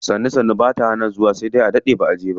Sannu sannu bata hana zuwa sai dai a daɗe baʼa je ba.